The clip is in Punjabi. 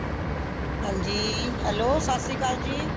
ਹੰਜੀ hello ਸਤਸ਼੍ਰੀ ਅਕਾਲ ਜੀ